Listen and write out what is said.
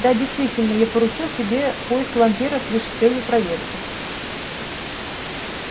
да действительно я поручил тебе поиск вампиров лишь с целью проверки